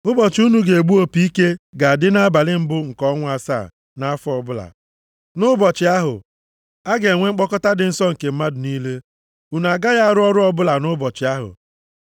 “ ‘Ụbọchị unu ga-egbu opi ike ga-adị nʼabalị mbụ nke ọnwa asaa nʼafọ ọbụla. Nʼụbọchị ahụ, a ga-enwe mkpọkọta dị nsọ nke mmadụ niile. Unu agaghị arụ ọrụ ọbụla nʼụbọchị ahụ.